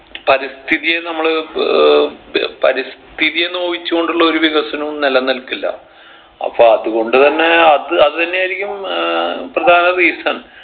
പരിസ്ഥിതിയെ നമ്മൾ ഏർ പ് പരിസ്ഥിതിയെ നോവിച്ച് കൊണ്ടുള്ള ഒരു വികസനവും നില നിൽക്കില്ല അപ്പൊ അത്കൊണ്ട് തന്നെ അത് അതെന്നെ ആയിരിക്കും ഏർ പ്രധാന reason